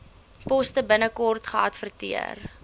poste binnekort geadverteer